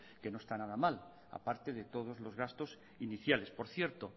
que no está nada mal a parte de todos los gastos iniciales por cierto